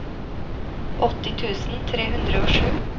åtti tusen tre hundre og sju